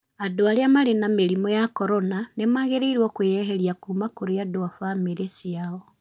Andũ arĩa marĩ na mĩrimũ ya corona nĩmagĩrĩirwo kwĩyeria kuuma kũrĩ andũ a famĩlĩ ciao.